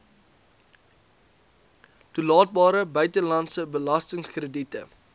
toelaatbare buitelandse belastingkrediete